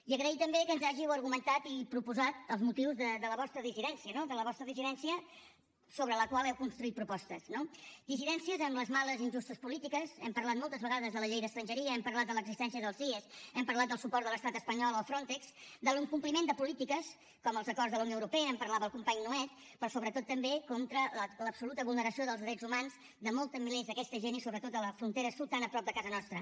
i agrair també que ens hàgiu argumentat i proposat els motius de la vostra dissidència no de la vostra dissidència sobre la qual heu construït propostes no dissidències amb les males i injustes polítiques hem parlat moltes vegades de la llei d’estrangeria hem parlat de l’existència dels cies hem parlat del suport de l’estat espanyol al frontex de l’incompliment de polítiques com els acords de la unió europea en parlava el company nuet però sobretot també contra l’absoluta vulneració dels drets humans de molts milers d’aquesta gent i sobretot de la frontera sud tan a prop de casa nostra